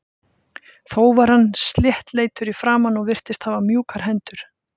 Þó var hann sléttleitur í framan og virtist hafa mjúkar hendur.